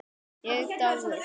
Ég dái þig.